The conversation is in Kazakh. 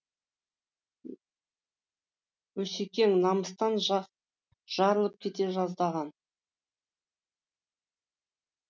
осекең намыстан жарылып кете жаздаған